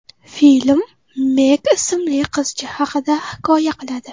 Film Meg ismli qizcha haqida hikoya qiladi.